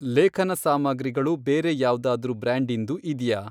ಲೇಖನ ಸಾಮಗ್ರಿಗಳು ಬೇರೆ ಯಾವ್ದಾದ್ರೂ ಬ್ರ್ಯಾಂಡಿಂದು ಇದ್ಯಾ?